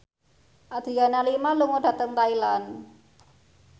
Adriana Lima lunga dhateng Thailand